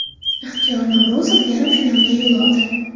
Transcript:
Ixtiyor Navro‘zov yarim finalga yo‘l oldi.